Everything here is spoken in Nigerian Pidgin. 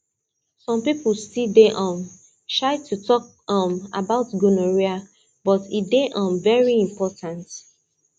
some people still dey um shy to talk um about gonorrhea but e dey um very important